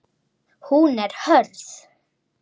Hún er hörð.